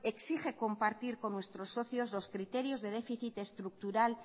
exige compartir con nuestros socios los criterios de déficit estructural